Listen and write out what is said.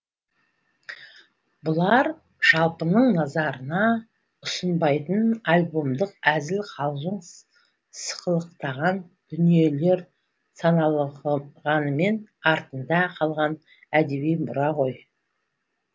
бұлар жалпының назарына ұсынбайтын альбомдық әзіл қалжың сықылықтаған дүниелер саналғанымен артында қалған әдеби мұра ғой